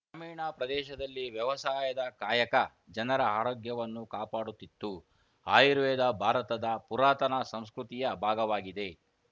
ಗ್ರಾಮೀಣ ಪ್ರದೇಶದಲ್ಲಿ ವ್ಯವಸಾಯದ ಕಾಯಕ ಜನರ ಆರೋಗ್ಯವನ್ನು ಕಾಪಾಡುತ್ತಿತ್ತು ಆಯುರ್ವೇದ ಭಾರತದ ಪುರಾತನ ಸಂಸ್ಕೃತಿಯ ಭಾಗವಾಗಿದೆ